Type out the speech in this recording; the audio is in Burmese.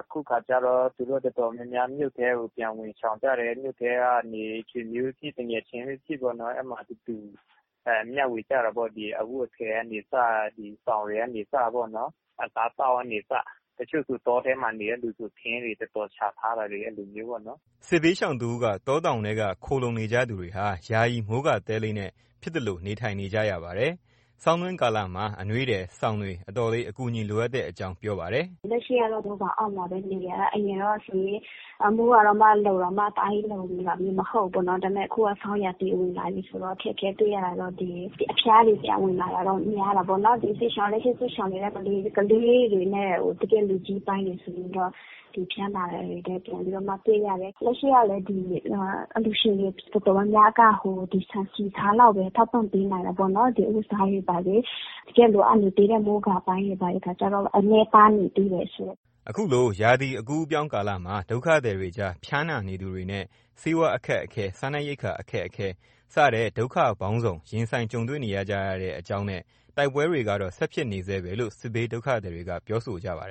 အခုအခါကတော့ သူတို့ တော်တော်များများမြို့ထဲကို ပြန်ဝင်ရှောင်ကြတယ် မြို့ထဲကနေ ဆွေမျိုးဖြစ်ဖြစ် သူငယ်ချင်းဖြစ်ဖြစ်ပေါ့ အဲ့မှာတူတူမျှဝေကြတာပေါ့ ဒီအဝတ်အထည်ကနေစ ဒီဆောင်းကနေစပေါ့နော် အစားသောက်ကနေစ။ တချို့ဆို တောထဲမှာနေတဲ့လူဆို ထင်းတွေတော်တော်ရှားထားတာ အဲ့လိုမျိုးပေါ့နော်။” စစ်ပြေးရှောင်တစ်ဦးက တောတောင်ထဲက ခိုးလှုံနေကြသူတွေဟာ ယာယီမိုးကာတဲလေးနဲ့ ဖြစ်သလို နေထိုင်နေကြရပါတယ်။ ဆောင်းတွင်းကာလမှာ အနွေထည်၊ စောင်းတွေ အတော်လေး အကူအညီလိုအပ်တဲ့အကြောင်း ပြောပါတယ်။ “လက်ရှိက မိုးကာအောက်မှာပဲ နေနေရတာ အရင်ကဆိုရင် မိုးတောင်မှလုံတာမှ တအားကြီးလုံနေတာမျိုးမဟုတ်ဘူးပေါ့နော် ဒါပေမယ့် အခုက ဆောင်းရာသီလာပြီးဆိုတော့ အခက်အခဲတွေ့ရတာတော့ ဒီအဖျားတွေ ပြန်ဝင်လာတတော့ များတာပေါ့နော်။ တချိုးစစ်ရှောင်နေတဲ့ ကလေးတွေနဲ့ တကယ့်လူကြီးပိုင်းတွေဆိုရင်တော့ ဒီဖျားနာတာ ပြန်ပြီးတော့မှ တွေ့ရတယ်။ လက်ရှိကလည်း ဒီအလှူရှင်တွေ တော်တော်များများက ဒီဆန်ဆီဆားလောက်ပဲ ထောက်ပံ့ပေးနိုင်တယ်ပေါ့နော် ဒီအဝတ်အစားတွေ ဘာတွေ တကယ့်လိုအပ်နေသေးတဲ့ မိုးကာအပိုင်းတွေ ဘာတွေခါကျတော့ နည်းပါးနေသေးတယ်ရှင့်။” ခုလို ရာသီအကူးအပြောင်းကာလမှာ ဒုက္ခသည်တွေကြား ဖျားနာနေသူတွေနဲ့ ဆေးဝါးအခက်အခဲ စားနပ်ရိက္ခာအခက်အခဲ စတဲ့ ဒုက္ခပေါင်းစုံ ရင်ဆိုင်ကြုံတွေ့နေကြရတဲ့အကြောင်းနဲ့ တိုက်ပွဲတွေကတော့ ဆက်ဖြစ်နေဆဲပဲလို့ စစ်ပြေး ဒုက္ခသည်တွေက ပြောဆိုပါတယ်